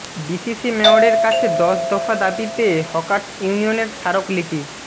DCC মেয়রের কাছে দশ দফা দাবিতে হকার্স ইউনিয়নের স্মারকলিপি